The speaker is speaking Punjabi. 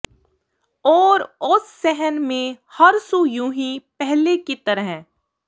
ਔਰ ਉਸ ਸਹਨ ਮੇਂ ਹਰ ਸੂ ਯੂੰਹੀ ਪਹਲੇ ਕੀ ਤਰਹ